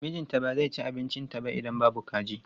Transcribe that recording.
Mijinta ba zai ci abincinta ba idan babu kaji.